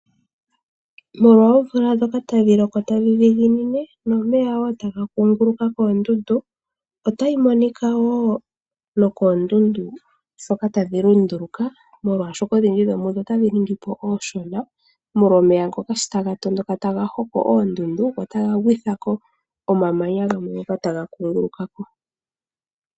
Molwa omvula ndjoka hayi loko tayi dhiginine nomeya wo taga kukunguluka koondundu, otayi monika wo nokoondundu dhoka tadhi lunduluka, molwaashoka odhindji dhomudho otadhi ningipo ooshona, molwa omeya ngoka shi taga tondoka taga hoko oondundu go taga gwithako omamanya gamwe ngoka taga kungulukako.